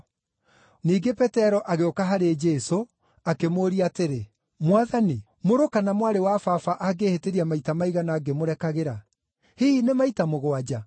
Ningĩ Petero agĩũka harĩ Jesũ, akĩmũũria atĩrĩ, “Mwathani, mũrũ kana mwarĩ wa baba angĩhĩtĩria maita maigana ngĩmũrekagĩra? Hihi nĩ maita mũgwanja?”